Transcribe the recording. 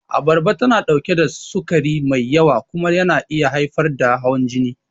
Abarba tana ɗauke da sukari mai yawa kuma yana iya haifar da hawan jini.